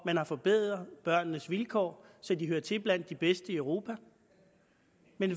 man har forbedret børnenes vilkår så de hører til blandt de bedste i europa